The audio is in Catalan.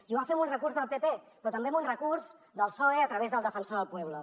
i ho va fer amb un recurs del pp però també amb un recurs del psoe a través del defensor del pueblo